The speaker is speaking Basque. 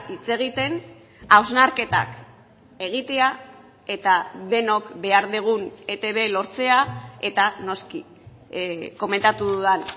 hitz egiten hausnarketak egitea eta denok behar dugun etb lortzea eta noski komentatu dudan